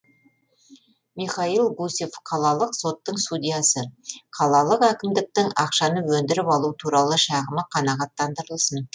михаил гусев қалалық соттың судьясы қалалық әкімдіктің ақшаны өндіріп алу туралы шағымы қанағаттандырылсын